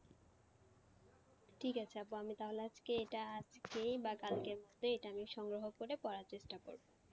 ঠিক আছে আপু আমি তাহলে আজকে এটা আজকে বা কালকের মধ্যে এটা আমি সংগ্রহ করে পড়ার চেষ্টা করবো।